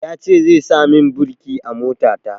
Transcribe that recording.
Ya ce zai sa min birki a mota ta